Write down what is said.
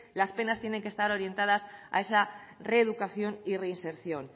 las penas tienen que estar orientadas a esa reeducación y reinserción